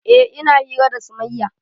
Eh ina hira da sumayya